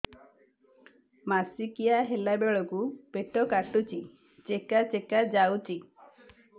ମାସିକିଆ ହେଲା ବେଳକୁ ପେଟ କାଟୁଚି ଚେକା ଚେକା ଯାଉଚି